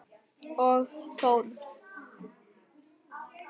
Og Þórð.